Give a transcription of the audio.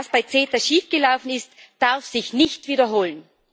Was bei CETA schief gelaufen ist, darf sich nicht wiederholen!